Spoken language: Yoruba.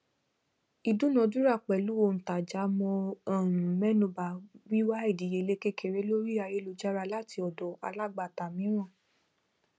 ìdúnadúrà pẹlú òǹtajà mo um mẹnuba wíwà ìdíyelé kékeré lórí ayélujára láti ọdọ alágbàtà mííràn